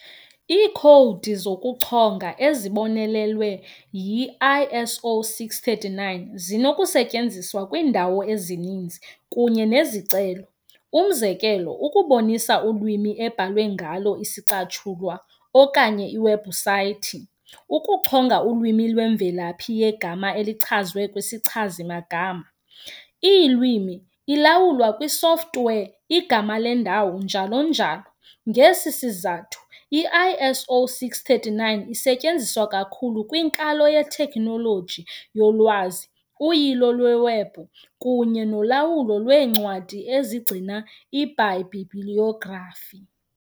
Iikhowudi zokuchonga ezibonelelwe yi-ISO 639 zinokusetyenziswa kwiindawo ezininzi kunye nezicelo, umzekelo ukubonisa ulwimi ebhalwe ngalo isicatshulwa okanye iwebhusayithi, ukuchonga ulwimi lwemvelaphi yegama elichazwe kwisichazi-magama, iilwimi. ilawulwa kwisoftware, igama lendawo njl.njl. Ngesi sizathu, ISO 639 isetyenziswa kakhulu kwinkalo yethekhnoloji yolwazi, uyilo lwewebhu kunye nolawulo lweencwadi ezigcina iibhayibhilografi.